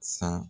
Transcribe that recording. San